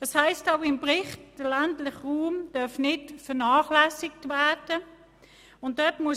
Es heisst auch im Bericht, dass der ländliche Raum nicht vernachlässigt werden darf.